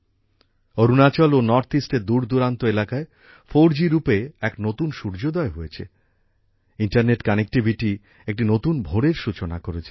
অরুণাচল ও north east এর দূরদূরান্তে এলাকায় 4G রূপে এক নতুন সূর্যোদয় হয়েছে ইন্টারনেট কানেক্টিভিটি একটি নতুন ভোরের সূচনা করেছে